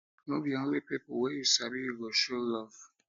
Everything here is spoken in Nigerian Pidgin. no be only pipu be only pipu wey you sabi you go show love